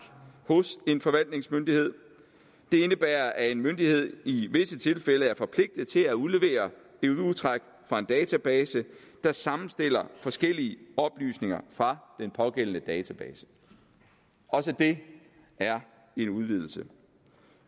hos en forvaltningsmyndighed det indebærer at en myndighed i visse tilfælde er forpligtet til at udlevere et udtræk fra en database der sammenstiller forskellige oplysninger fra den pågældende database også det er en udvidelse